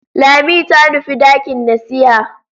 Lami ta nufi dakin nasiha.